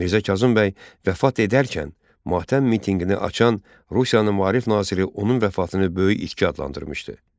Mirzə Kazım bəy vəfat edərkən matəm mitinqini açan Rusiyanın maarif naziri onun vəfatını böyük itki adlandırmışdı.